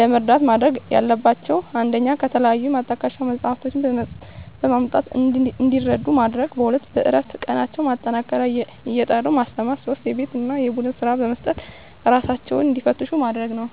ለመርዳት ማድረግ ያለባቸው 1 ከተለያዩ ማጣቀሻ መፅሃፍትን በማምጣት እንዲረዱ ማድረግ 2 በእረፍት ቀናቸው ማጠናከሪያ እየጠሩ ማስተማር 3 የቤት እና የቡድን ስራ በመስጠት እራሳቸውን እንዲፈትሹ ማድረግ ነው